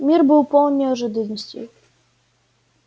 мир был полон неожиданностей